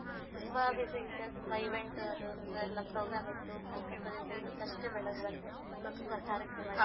ತುಂಬಾ busy ಇದ್ದೆ ತುಂಬಾ event ಅದು ಎಲ್ಲ program ಇತ್ತು ಕಲ್ಕತ್ತಾದಿಂದ ಇವತ್ತಷ್ಟೇ ಬೆಳಗ್ ಬಂದೆ so ತುಂಬಾ ಕಾರ್ಯಕ್ರಮ ಇತ್ತು.